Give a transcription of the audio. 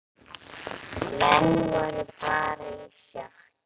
Menn voru bara í sjokki.